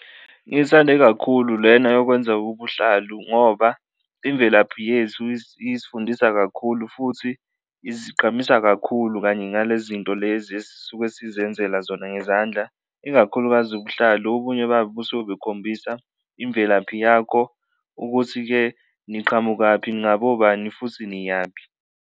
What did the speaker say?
Ngiyithande kakhulu lena yokwenza ubuhlalu ngoba imvelaphi yethu isifundisa kakhulu futhi isigqamisa kakhulu kanye nale zinto lezi esisuke sizenzela zona ngezandla, ikakhulukazi ubuhlalu. Obunye babo busuke bukhombisa imvelaphi yakho ukuthi-ke niqhamukaphi, ningabobani futhi niyaphi.